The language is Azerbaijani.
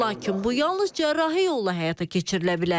Lakin bu yalnız cərrahi yolla həyata keçirilə bilər.